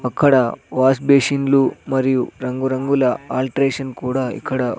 అక్కడ వాష్ బేసిన్లు మరియు రంగురంగుల ఆల్ట్రేషన్ కూడా ఇక్కడ--